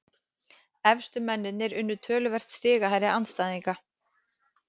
Efstu mennirnir unnu töluvert stigahærri andstæðinga